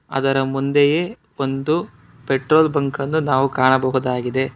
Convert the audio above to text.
ಅದರ ಮುಂದೆಯೇ ಒಂದು ಪೆಟ್ರೋಲ್ ಬಂಕನ್ನು ನಾವು ಕಾಣಬಹುದಾಗಿದೆ.